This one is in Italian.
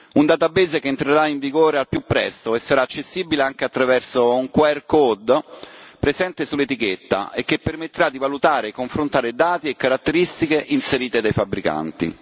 un database che entrerà in vigore al più presto e sarà accessibile anche attraverso un quercode presente sull'etichetta e che permetterà di valutare e confrontare dati e caratteristiche inserite dei fabbricanti.